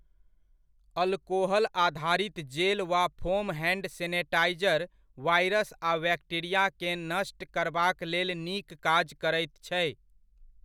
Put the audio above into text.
Alcohol आधारित gel वा foam hand sanitiser virus आ बैक्टीरियाके नष्ट करबाक लेल नीक काज करैत छै।